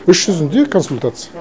іс жүзінде консультация